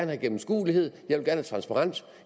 have gennemskuelighed jeg vil gerne have transparens